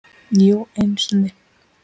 Jú, einu sinni.